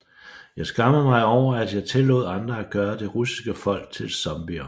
Jeg skammer mig over at jeg tillod andre at gøre det russiske folk til zombier